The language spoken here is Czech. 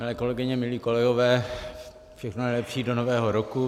Milé kolegyně, milí kolegové, všechno nejlepší do nového roku.